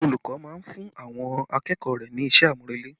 Olùkọ́ máa ń fún àwọn akẹ́kọ̀ọ́ rẹ ní iṣẹ́ àmúrelé